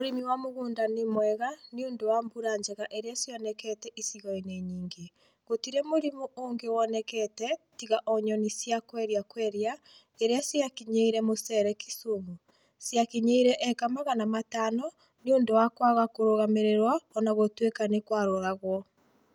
Ũrĩmi wa mũgũnda nĩ mwega nĩ ũndũ wa mbura njega iria cionekete icigo-inĩ nyingĩ. Gũtirĩ mũrimũ ũngĩ wonekete tiga o nyoni cia Quelea quelea iria ciakinyĩire mũcere Kisumu. Ciakinyĩire eka Magana matano nĩ ũndũ wa kwaga kũrũgamĩrĩrwo o na gũtuĩka nĩ kwaroragwo.